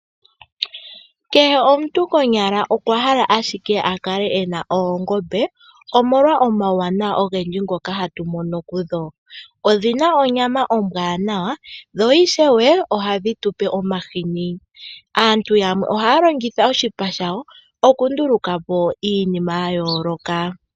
Kehe omuntu konyala okwa hala ashike a kale ena oongombe omolwa omauwanawa ogendji ngoka hatu mono kudho. Odhina onyama ombwanawa dho ishewe ohadhi tupe omahini. Aantu yamwe ohaya longitha oshipa shadho okunduluka po iinima ya yooloka.